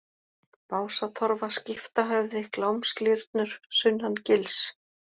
Básatorfa, Skiptahöfði, Glámsglyrnur, Sunnan gils